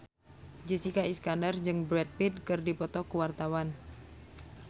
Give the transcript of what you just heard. Jessica Iskandar jeung Brad Pitt keur dipoto ku wartawan